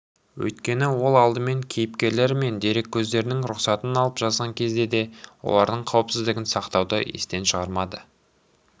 өйткені ол алдымен кейіпкерлері мен дереккөздерінің рұқсатын алып жазған кезде де олардың қауіпсіздігін сақтауды естен шығармады